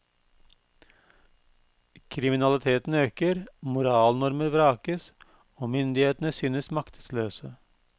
Kriminaliteten øker, moralnormer vrakes og myndighetene synes maktesløse.